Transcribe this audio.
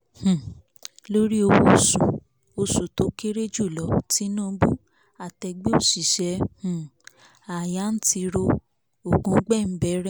um lórí owó oṣù oṣù tó kéré jùlọ tínúbù àtẹgbẹ́ òṣìṣẹ́ um ááyá ń tiro ògúngbẹ̀ ń bẹ̀rẹ̀